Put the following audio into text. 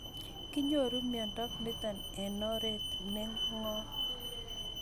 Kinyoru miondo nitok eng' oret ne ng'om